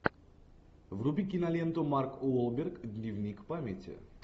вруби киноленту марк уолберг дневник памяти